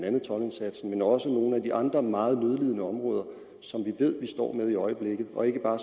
også nogle af de andre meget nødlidende områder som vi ved vi står med i øjeblikket og ikke bare